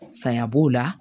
Saya b'o la